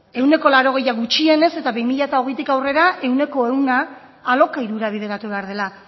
ehuneko laurogei gutxienez eta bi mila hogeitik aurrera ehuneko ehun alokairura bideratu behar dela